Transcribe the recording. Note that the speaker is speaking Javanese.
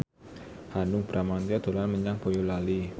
Hanung Bramantyo dolan menyang Boyolali